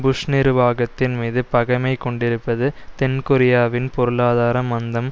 push நிர்வாகத்தின்மீது பகைமை கொண்டிருப்பது தென்கொரியாவின் பொருளாதார மந்தம்